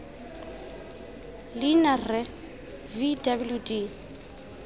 leina rre v w d